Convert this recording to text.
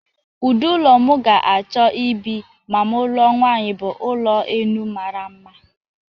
Ụdị ụlọ m ga-achọ ịbị ma m lụọ nwanyị bụ ụlọ enu mara mma.